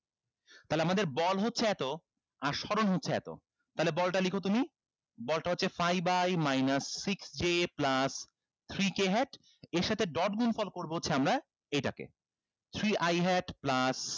তাহলে আমাদের বল হচ্ছে এতো আর স্বরণ হচ্ছে এতো তাইলে বলটা লিখো তুমি বলটা হচ্ছে five i minus six j plus three k hat এর সাথে dot গুনফল করবো হচ্ছে আমরা এইটাকে three i hat plus